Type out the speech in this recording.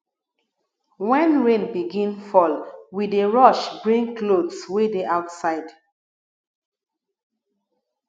wen rain begin fall we dey rush bring clothes wey dey outside